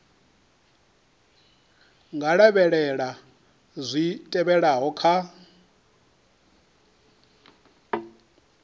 nga lavhelela zwi tevhelaho kha